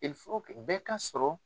bɛ ka sɔrɔ